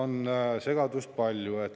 Selles on segadust palju.